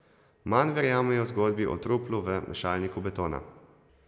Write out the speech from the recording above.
Manj verjamejo zgodbi o truplu v mešalniku betona.